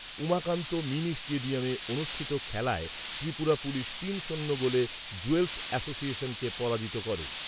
Umakanta mini স্টেডিয়ামে অনুষ্ঠিত খেলায় ত্রিপুরা পুলিশ তিন শূন্য গোলে জুয়েলস অ্যাসোসিয়েশনকে পরাজিত করে।